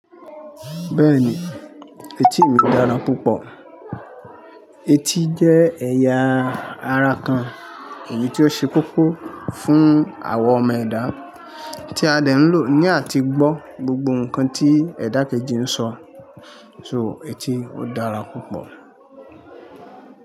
Bẹ́ẹ̀ni, etí mi dára púpọ̀. Etí jẹ́ ẹ̀yà ara kan èyí tí ó ṣe koko fún àwa ọmọ ẹ̀dá tí a dẹ̀ ń lò ní àti gbọ́ gbogbo nǹkan tí ẹ̀dá kejì ń sọ. So etí ó dára púpọ̀